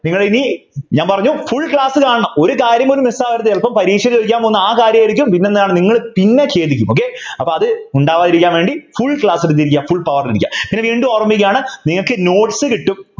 നിങ്ങൾ ഇനി ഞാൻ പറഞ്ഞു Full class കാണണം ഒരു കാര്യം പോലും Miss ആവരുത് ചിലപ്പോ പരീക്ഷയിൽ ചോദിക്കാൻ പോകുന്നത് ആ കാര്യായിരിക്കും പിന്നെന്താണ് നിങ്ങൾ പിന്നെ ഖേദിക്കും okay അപ്പൊ അത് ഉണ്ടാവാതിരിക്കാൻ വേണ്ടി Full class കണ്ടിരിക്കാം full power ൽ ഇരിക്കുക പിന്നെ വീണ്ടും ഓർമിപ്പിക്കുകയാണ് നിങ്ങൾക്ക് Notes കിട്ടും